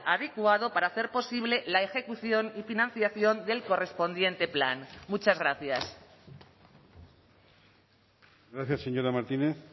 adecuado para hacer posible la ejecución y financiación del correspondiente plan muchas gracias gracias señora martínez